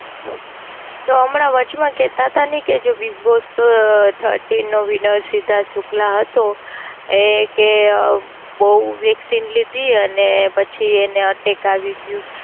તો અમના વચ માં કેતા તા ને કે જો Big Boss Thirty નો Wiener સિદ્ધાર્થ શુક્લા હતો એ કે બોવ Vaccine લીધી અને પછી એને Attack આવી ગયું.